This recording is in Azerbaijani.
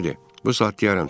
Bu saat deyərəm sir.